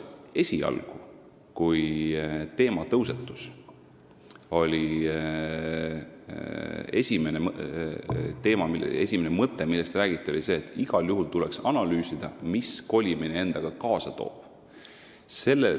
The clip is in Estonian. Esialgu, kui teema üles tõusis, oli tõepoolest esimene mõte, millest räägiti, see, et igal juhul tuleks analüüsida, mida kolimine endaga kaasa toob.